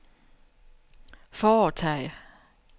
foretage